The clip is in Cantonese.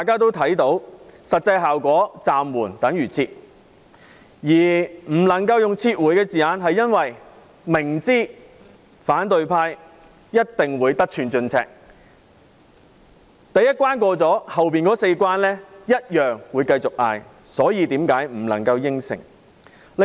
雖然實際效果是"暫緩"等於"撤回"，但不能夠用"撤回"這用詞，是因為政府明知反對派一定會得寸進尺，第一關過了，會繼續嚷着要通過隨後的四關，所以不能夠應承。